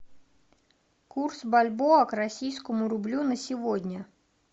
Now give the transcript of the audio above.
курс бальбоа к российскому рублю на сегодня